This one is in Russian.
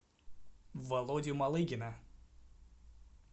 володю малыгина